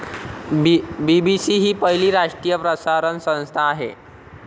BBC हि पहिली राष्ट्रीय प्रसारण संस्था आहे.